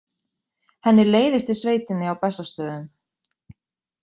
Henni leiðist í sveitinni á Bessastöðum.